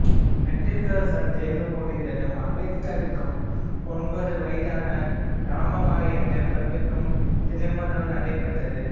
matriculation தேர்வு முடிந்ததும் அம்பேத்கருக்கும் ஒன்பது வயதான ராமாபாய் என்ற பெண்ணுக்கும் திருமணம் நடைபெற்றது